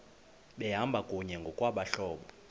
behamba kunye ngokwabahlobo